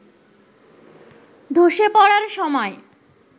ধসে পড়ার সময়